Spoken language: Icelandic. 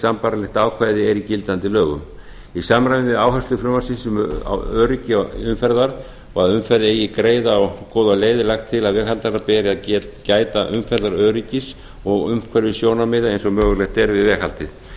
sambærilegt ákvæði er í gildandi lögum í samræmi við áherslur frumvarpsins um öryggi umferðar og að umferð eigi greiða og góða leið er lagt til að veghaldara beri að gæta umferðaröryggis og umhverfissjónarmiða eins og mögulegt er við veghaldið